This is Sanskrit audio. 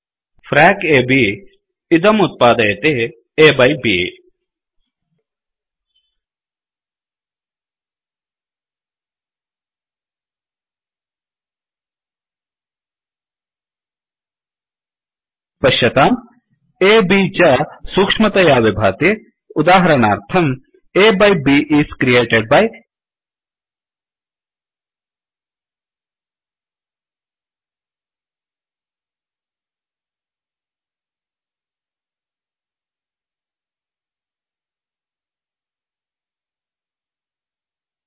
फ्रैक a ब् इदम् उत्पादयति A बाय Bअ बै ब् पश्यतां A B च सूक्ष्मतया विभाति उदाहरणार्थं A by B is created byअ by B is created by